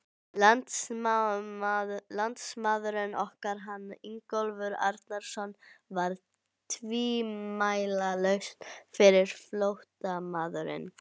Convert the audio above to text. Landnámsmaðurinn okkar, hann Ingólfur Arnarson, var tvímælalaust fyrsti flóttamaðurinn.